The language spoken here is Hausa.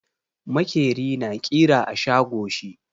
Makeri na ƙira a shago shi.